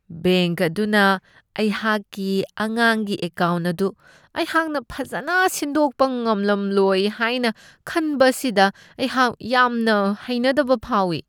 Bank ꯑꯗꯨꯅ ꯑꯩꯍꯥꯛꯀꯤ ꯑꯉꯥꯡꯒꯤ ꯑꯦꯀꯥꯎꯟ ꯑꯗꯨ ꯑꯩꯍꯥꯛꯅ ꯐꯖꯅ ꯁꯤꯟꯗꯣꯛꯄ ꯉꯝꯂꯝꯂꯣꯏ ꯍꯥꯏꯅ ꯈꯟꯕ ꯑꯁꯤꯗ ꯑꯩꯍꯥꯛ ꯌꯥꯝꯅ ꯍꯩꯅꯗꯕ ꯐꯥꯎꯢ ꯫